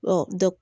dɛ